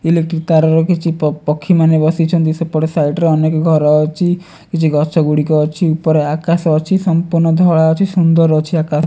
Electric ତାରର କିଛି ପକ୍ଷୀମାନେ ବସିଛନ୍ତି। ସେପଟ ସାଇଟ ରେ ଅନେକ ଘର ଅଛି କିଛି ଗଛ ଗୁଡିକ ଅଛି ଉପରେ ଆକାଶ ଅଛି ସମ୍ପୂର୍ଣ୍ଣ ଧଳା ଅଛି ସୁନ୍ଦର ଅଛି ଆକାଶ।